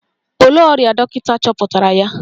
Olee ọrịa dọkịta chọpụtara ya?